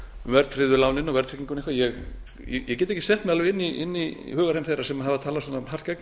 verðtryggðu lánin og verðtrygginguna eitthvað ég get ekki sett mig alveg inn í hugarheim þeirra sem hafa talað svona hart gegn